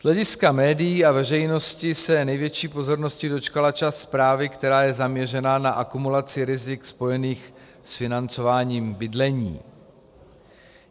Z hlediska médií a veřejnosti se největší pozornosti dočkala část zprávy, která je zaměřená na akumulaci rizik spojených s financování bydlení.